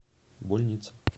больница